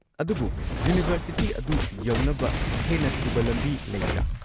ꯑꯗꯨꯕꯨ ꯌꯨꯅꯤꯚꯔꯁꯤꯇꯤ ꯑꯗꯨ ꯌꯧꯅꯕ ꯍꯦꯟꯅ ꯊꯨꯕ ꯂꯝꯕꯤ ꯂꯩꯕ꯭ꯔꯥ?